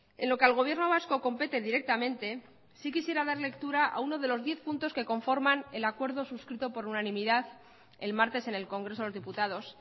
en lo que al gobierno vasco compete directamente sí quisiera dar lectura a uno de los diez puntos que conforman el acuerdo suscrito por unanimidad el martes en el congreso de los diputados